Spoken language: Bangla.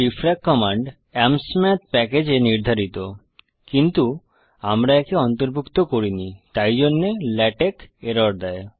ডিএফআরএসি কমান্ড Amsmathপ্যাকেজ এ নির্ধারিত কিন্তু আমরা একে অন্তর্ভুক্ত করিনি তাই জন্যে লেটেক্স এরর দেয়